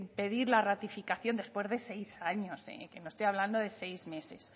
pedir la ratificación después de seis años que no estoy de hablando de seis meses